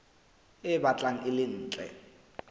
e batlang e le ntle